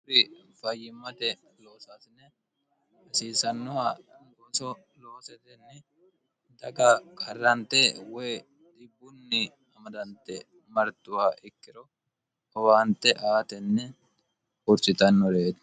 hurri fayyimmate loosaasine hasiisannoha goso loosetenni daga karrante woy dibbunni amadante martuwa ikkiro howaante aatenni hurchitannoreeti